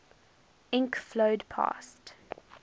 ink flowed past